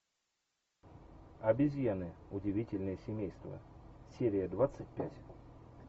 обезьяны удивительное семейство серия двадцать пять